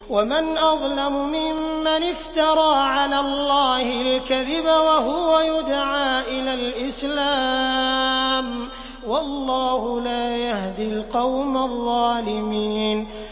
وَمَنْ أَظْلَمُ مِمَّنِ افْتَرَىٰ عَلَى اللَّهِ الْكَذِبَ وَهُوَ يُدْعَىٰ إِلَى الْإِسْلَامِ ۚ وَاللَّهُ لَا يَهْدِي الْقَوْمَ الظَّالِمِينَ